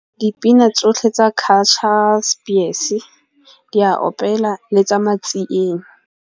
Dipina tsotlhe tsa Cultural Spears di a opela le tsa matsieng.